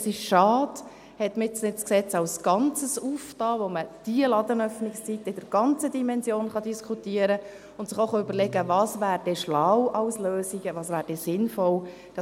Es ist schade, dass man das Gesetz jetzt nicht als Ganzes geöffnet hat, sodass man die Ladenöffnungszeiten in ihrer ganzen Dimension hätte diskutieren können und sich hätte überlegen können, was denn als Lösung schlau und sinnvoll wäre.